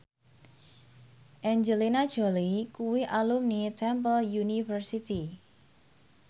Angelina Jolie kuwi alumni Temple University